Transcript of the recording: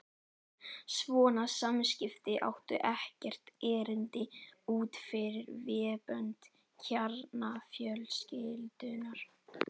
Svona samskipti áttu ekkert erindi út fyrir vébönd kjarnafjölskyldunnar.